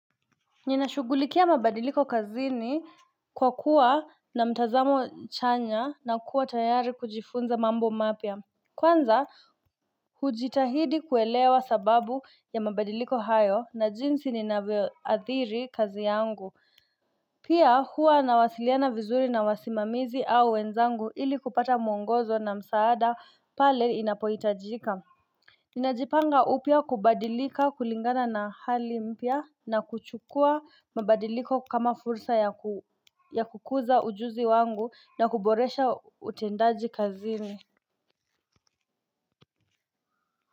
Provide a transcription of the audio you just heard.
Ninashugulikia mabadiliko kazini kwa kuwa na mtazamo chanya na kuwa tayari kujifunza mambo mapya Kwanza hujitahidi kuelewa sababu ya mabadiliko hayo na jinsi ninavyoathiri kazi yangu Pia huwa nawasiliana vizuri na wasimamizi au wenzangu ili kupata mwongozo na msaada pale inapohitajika Ninajipanga upya kubadilika kulingana na hali mpya na kuchukua mabadiliko kama fursa ya kukuza ujuzi wangu na kuboresha utendaji kazini.